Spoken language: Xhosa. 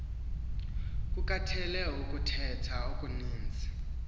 kukatheal ukuthetha okuninzi